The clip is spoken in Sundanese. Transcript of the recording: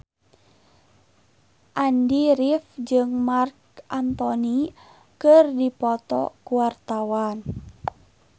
Andy rif jeung Marc Anthony keur dipoto ku wartawan